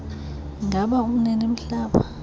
ingaba umnini mhlaba